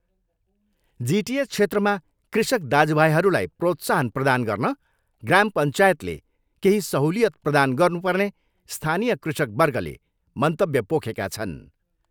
जिटिए क्षेत्रमा कृषक दाजुभाइहरूलाई प्रोत्साहन प्रदान गर्न ग्राम पञ्चायतले केही सहलुयित प्रदान गर्नु पर्ने स्थानीय कृषकवर्गले मन्तव्य पोखेका छन्।